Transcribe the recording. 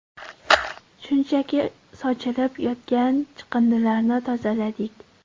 Shunchaki sochilib yotgan chiqindilarni tozaladik.